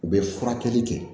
U bɛ furakɛli kɛ